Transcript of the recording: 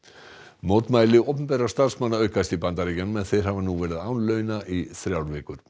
mótmæli opinberra starfsmanna aukast í Bandaríkjunum en þeir hafa nú verið án launa í þrjár vikur